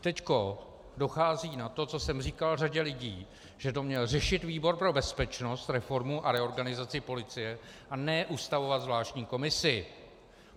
Teď dochází na to, co jsem říkal řadě lidí, že to měl řešit výbor pro bezpečnost, reformu a reorganizaci policie, a ne ustavovat zvláštní komisi.